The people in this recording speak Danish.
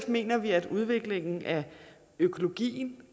mener vi at udviklingen af økologien